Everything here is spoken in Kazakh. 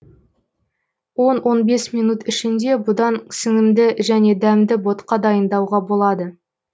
он он бес минут ішінде бұдан сіңімді және дәмді ботқа дайындауға болады